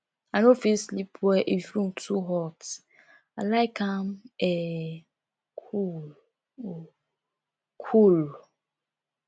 i no fit sleep well if room too hot i like am um cool um cool